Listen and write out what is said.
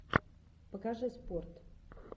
покажи спорт